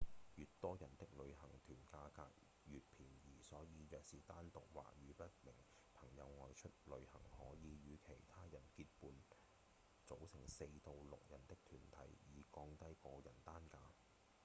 越多人的旅行團價格越便宜所以若是單獨或與一名朋友外出旅行可以與其他人結伴組成四到六人的團體以降低個人單價